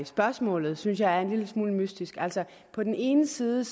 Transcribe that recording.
spørgsmålet synes jeg er en lille smule mystisk altså på den ene side